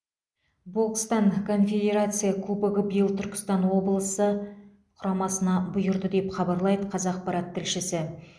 бокстан конфедерация кубогы биыл түркістан облысы құрамасына бұйырды деп хабарлайды қазақпарат тілшісі